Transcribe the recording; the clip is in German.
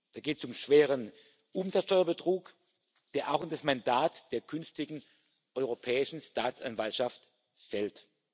Da geht es um schweren Umsatzsteuerbetrug, der auch in das Mandat der künftigen Europäischen Staatsanwaltschaft fällt.